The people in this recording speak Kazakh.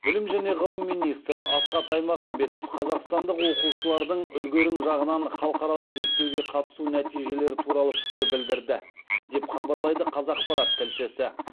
білім және ғылым министрі асхат аймағамбетов қазақстандық оқушылардың үлгерім жағынан халықаралық зерттеуге қатысу нәтижелері туралы пікір білдірді деп хабарлайды қазақпарат тілшісі